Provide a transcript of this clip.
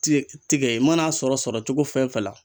Tigɛ tigɛ i mana sɔrɔ sɔrɔ cogo fɛn fɛn la.